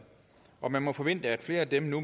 og man må forvente at flere af dem nu